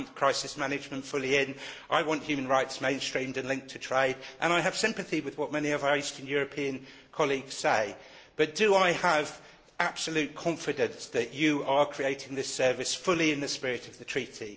I want crisis management fully in, I want human rights mainstreamed and linked to trade, and I have sympathy with what many of our eastern European colleagues say, but do I have absolute confidence that you are creating this service fully in the spirit of the treaty?